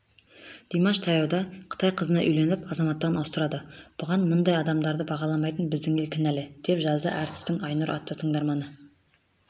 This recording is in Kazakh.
димаш таяуда қытай қызына үйленіп азаматтығын ауыстырады бұған мұндай адамдарды бағаламайтын біздің ел кінәлі деп жазды әртістің айнұр атты тыңдарманы